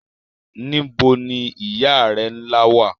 Níbo ni ìyá rẹ nla wa?